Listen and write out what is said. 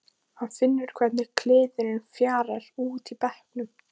Hann finnur hvernig kliðurinn fjarar út í bekknum.